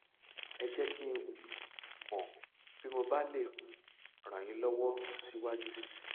ẹ jẹ kí n um mọ bí mo bá lè um ràn yín lọwọ síwájú sí i